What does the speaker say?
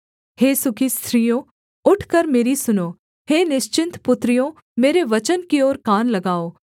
हे सुखी स्त्रियों उठकर मेरी सुनो हे निश्चिन्त पुत्रियों मेरे वचन की ओर कान लगाओ